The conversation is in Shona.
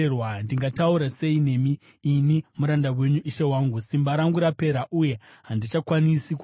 Ndingataura sei nemi, ini muranda wenyu, ishe wangu? Simba rangu rapera uye handichakwanisi kufema.”